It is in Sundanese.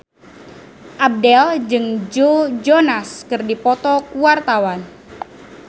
Abdel jeung Joe Jonas keur dipoto ku wartawan